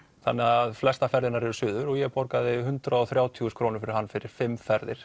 þannig flestar ferðirnar eru suður og ég borgaði hundrað og þrjátíu þúsund krónur fyrir hann fyrir fimm ferðir